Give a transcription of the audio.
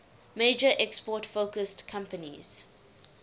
major export focused companies